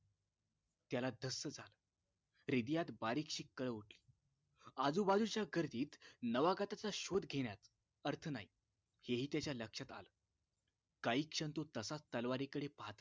त्याला धस्स झालं हृदयात बारीकशी कळ उठली आजूबाजूच्या गर्दीत नवागताचा शोध घेण्यात अर्थ नाही हे हि त्याच्या लक्षात आलं काही क्षण तो तसाच तलवारीकडे पाहात